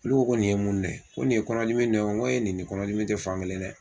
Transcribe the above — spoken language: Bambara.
Olu ko nin ye mun nɔ ye? ko nin ye kɔnɔdimi nɔ ye wa? Nko nin ni kɔnɔdimi tɛ fankelen dɛ.